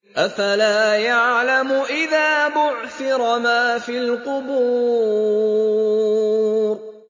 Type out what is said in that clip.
۞ أَفَلَا يَعْلَمُ إِذَا بُعْثِرَ مَا فِي الْقُبُورِ